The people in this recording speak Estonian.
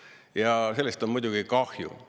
Ja sellest on muidugi kahju.